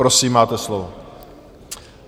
Prosím, máte slovo.